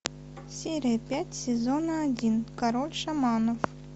серия пять сезона один король шаманов